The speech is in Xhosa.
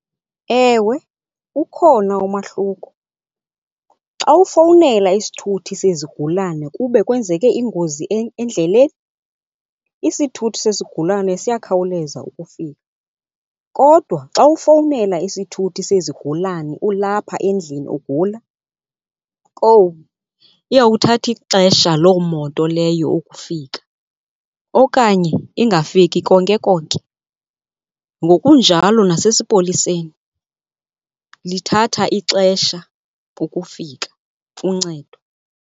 Ewe, ukhona umahluko. Xa ufowunela isithuthi sezigulane kube kwenzeke ingozi endleleni, isithuthi sezigulane siyakhawuleza ukufika. Kodwa xa ufowunela isithuthi sezigulane ulapha endlini ugula kowu iyawuthatha ixesha loo moto leyo ukufika okanye ingafiki konke konke. Ngokunjalo nasesipoliseni, lithatha ixesha ukufika uncedo.